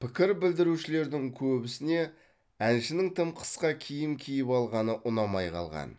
пікір білдірушілердің көбісіне әншінің тым қысқа киім киіп алғаны ұнамай қалған